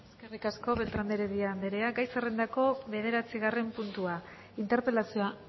eskerrik asko beltrán de heredia andrea gai zerrendako bederatzigarren puntua interpelazioa